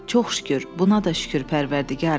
Çox şükür, buna da şükür Pərvərdigara!